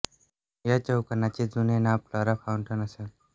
या चौकाचे जुने नाव फ्लोरा फाउंटन असे होते